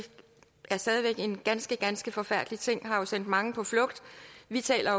er stadig væk en ganske ganske forfærdelig ting der har sendt mange på flugt vi taler